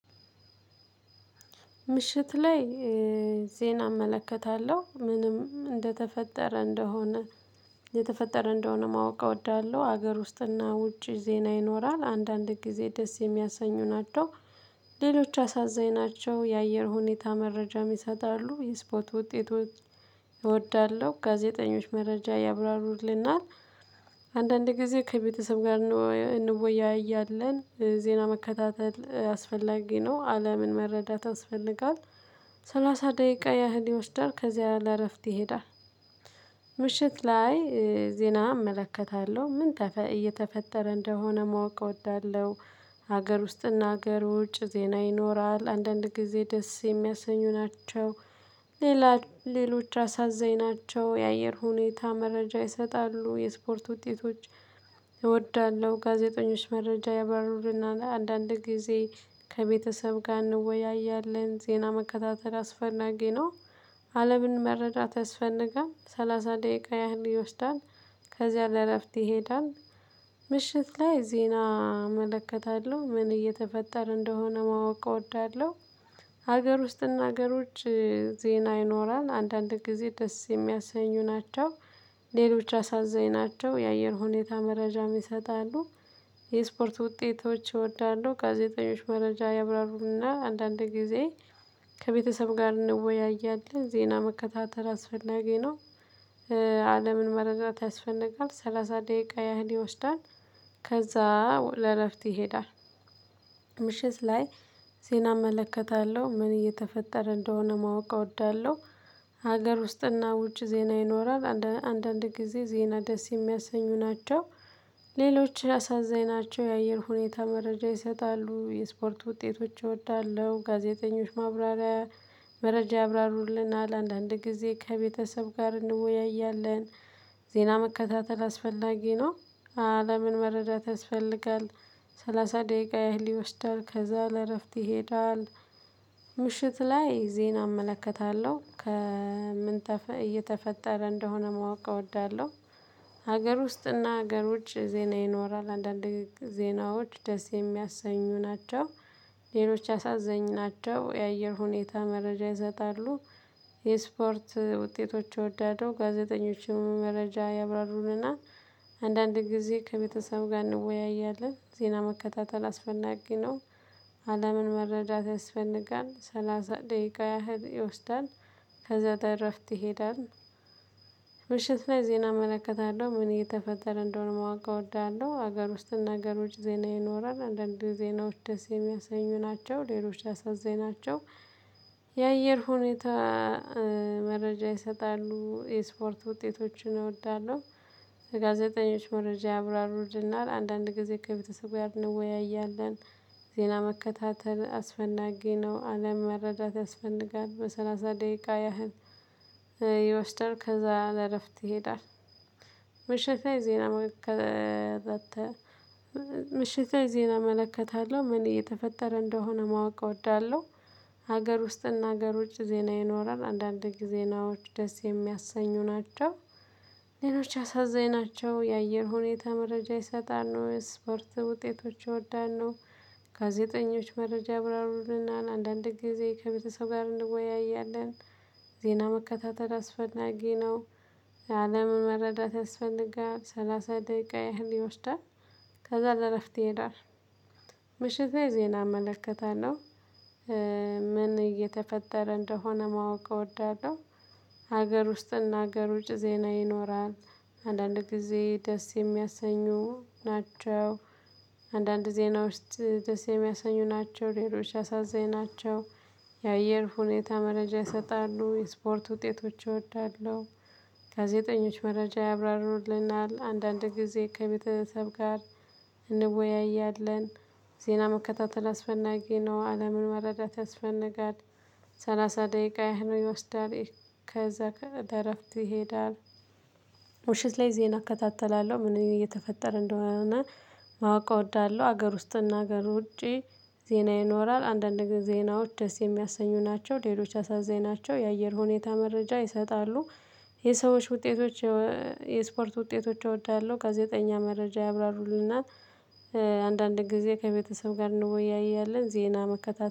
ምሽት ላይ ዜና እመለከታለሁ ምንም እንደተፈጠረ እንደሆነ እየተፈጠረ እንደሆነ ማወቅ እወዳለሁ። ሀገር ውስጥና ውጪ ዜና ይኖራል አንዳንድ ጊዜ ደስ የሚያሰኙ ናቸው። ሌሎች አሳዛኝ ናቸው የአየር ሁኔታ መረጃም ይሰጣሉ የስፖት ውጤቶች እወዳለሁ ጋዜጠኞች መረጃ ያብራሩልናል። አንዳንድ ጊዜ ከቤተሰብ ጋር እንወያያለን ዜና መከታተል አስፈላጊ ነው። አለምን መረዳት ያስፈልጋል። ሰላሳ ደቂቃ ያህል ይወስዳል ከዚያ ለእረፍት ይሄዳል። ምሽት ላይ ዜና እመለከታለሁ ምን እየተፈጠረ እንደሆነ ማወቅ እወዳለሁ። ሀገር ውስጥና ሀገር ውጭ ዜና ይኖራል አንዳንድ ጊዜ ደስ የሚያሰኙ ናቸው። ሌላ ሌሎች አሳዛኝ ናቸው የአየር ሁኔታ መረጃ ይሰጣሉ የስፖርት ውጤቶች። እወዳለሁ ጋዜጠኞች መረጃ ያብራሩልናል አንዳንድ ጊዜ ከቤተሰብ ጋር እንወያያለን ዜና መከታተል አስፈናጊ ነው። አለምን መረዳት ያስፈንጋል ሰላሳ ደቂቃ ያህል ይወስዳል ከዚያ ለእረፍት ይሄዳል። ምሽት ላይ ዜና እመለከታለሁ ምን እየተፈጠር እንደሆነ ማወቅ እወዳለሁ። ሀገር ውስጥና ሀገር ውጭ ዜና ይኖራል አንዳንድ ጊዜ ደስ የሚያሰኙ ናቸው። ሌሎች አሳዛኝ ናቸው የአየር ሁኔታ መረጃም ይሰጣሉ። የስፖርት ውጤቶች እወዳለሁ ጋዜጠኞች መረጃ ያብራሩና አንዳንድ ጊዜ ከቤተሰብ ጋር እንወያያለን ዜና መከታተል አስፈላጊ ነው። አለምን መረዳት ያስፈነቃል ሰላሳ ደቂቃ ያህል ይወስዳል። ከዛ ለእረፍት ይሄዳል። ምሽት ላይ ዜና እመለከታለሁ ምን እየተፈጠረ እንደሆነ ማወቅ እወዳለሁ። ሀገር ውስጥና ውጭ ዜና ይኖራል አንዳንድ ጊዜ ዜና ደስ የሚያሰኙ ናቸው። ሌሎች አሳዛኝ ናቸው የአየር ሁኔታ መረጃ ይሰጣሉ የስፖርት ውጤቶች እወዳለሁ ጋዜጠኞች ማብራሪያ መረጃ ያብራሩልናል አንዳንድ ጊዜ ከቤተሰብ ጋር እንወያያለን። ዜና መከታተል አስፈላጊ ነው። አለምን መረዳት ያስፈልጋል። ሰላሳ ደቂቃ ያህል ይወስዳል ከዛ ለእረፍት ይሄዳል። ምሽት ላይ ዜና እመለከታለሁ ከምን እየተፈጠረ እንደሆነ ማወቅ እወዳለሁ። ሀገር ውስጥና ሀገር ውጭ ዜና ይኖራል አንዳንዴ ዜናዎች ደስ የሚያሰኙ ናቸው። ሌሎች አሳዛኝ ናቸው የአየር ሁኔታ መረጃ ይሰጣሉ። የስፖርት ውጤቶች እወዳለሁ ጋዜጠኞችም መረጃ ያብራሩልናል። አንዳንድ ጊዜ ከቤተሰብ ጋር እንወያያለን ዜና መከታተል አስፈናጊ ነው። አለምን መረዳት ያስፈንጋል ሰላሳ ደቂቃ ያህል ይወስዳል። ከዛ ለእረፍት ትሄዳለህ። ምሽት ላይ ዜና እመለከታለሁ ምን እየተፈጠረ እንደሆነ ማወቅ እወዳለሁ ሀገር ውስጥ እና ሀገር ውጭ ዜና ይኖራል አንዳንዴ ዜናዎች ደስየሚያስኙ ናቸው ሌሎች አሳዛኝናቸው። የአየር ሁኔታ መረጃ ይሰጣሉ የስፖርት ውጤቶችን እወዳለሁ። ጋዜጠኞች መረጃ ያብራሩልናል አንዳንድ ጊዜ ከቤተሰብ ጋር እንወያያለን። ዜና መከታተል አስፈናጊ ነው አለም መረዳት ያስፈንጋል ለሰላሳ ደቂቃ ያህል ይወስደል ከዛ ለእረፍት ይሄዳል። ምሽት ላይ ዜና መከታተ ምሽት ላይ ዜና እመለከታለሁ ምን እየተፈጠረ እንደሆነ ማወቅ እወዳለሁ። ሀገር ውስጥና ሀገር ውጭ ዜና ይኖራል አንዳንድ ጊዜ ዜናዎች ደስ የሚያሰኙ ናቸው። ሌሎች አሳዛኝናቸው የአየር ሁኔታ መረጃ ይሰጣል ነው የስፖርት ውጤቶች እወዳለሁ። ጋዜጠኞች መረጃ ያብራሩልናል አንዳንድ ጊዜ ከቤተሰብ ጋር እንወያያለን። ዜና መከታተል አስፈላጊ ነው። አለምን መረዳት ያስፈልጋል ሰላሳ ደቂቃ ያህል ይወስዳል። ከዛ ለእረፍት ይሄዳል። ምሽት ላይ ዜና እመለከታለሁ። ምን እየተፈጠረ እንደሆነ ማወቅ እወዳለሁ። ሀገር ውስጥ እና ሀገር ውጭ ዜና ይኖራል። አንዳንድ ጊዜ ደስ የሚያሰኙ ናቸው። አንዳንድ ዜና ውስጥ ደስ የሚያሰኙ ናቸው ሌሎች አሳዛኝ ናቸው። የአየር ሁኔታ መረጃ ይሰጣሉ የስፖርት ውጤቶች እወዳለሁ። ጋዜጠኞች መረጃ ያብራሩልናል አንዳንድ ጊዜ ከቤተሰብ ጋር እንወያያለን። ዜና መከታተል አስፈናጊ ነው አለምን መረዳት ያስፈነጋል። ሰላሳ ደቂቃ ያህል ይወስዳል ከዛ ከእረፍት ይሄዳል። ምሽት ላይ ዜና እከታተላለሁ ምን እየተፈጠረ እንደሆነ ማወቅ እወዳለሁ። ሀገር ውስጥና ሀገር ውጪ ዜና ይኖራል አንዳንድ ጊዜ ዜናዎች ደስ የሚያሰኙ ናቸው ሌሎች አሳዛኝ ናቸው የአየር ሁኔታ መረጃ ይሰጣሉ። የሰዎች ውጤቶች። የስፖርት ውጤቶች እወዳለሁ ጋዜጠኛ መረጃ ያብራሩልናል። አንዳንድ ጊዜ ከቤተሰብ ጋር እንወያያለን ዜና መከታተል